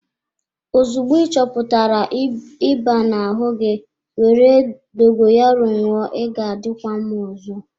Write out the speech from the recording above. Ozugbo ị chọpụtara ịba na-ahụ gi, were dogoyaro ṅụọ ị ga-adịkwa mma ọzọ.